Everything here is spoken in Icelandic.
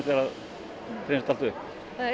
allt upp það er